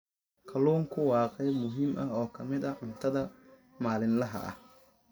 Kalluunku waa qayb muhiim ah oo ka mid ah cuntada maalinlaha ah.